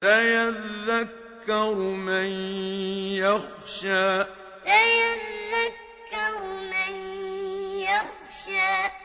سَيَذَّكَّرُ مَن يَخْشَىٰ سَيَذَّكَّرُ مَن يَخْشَىٰ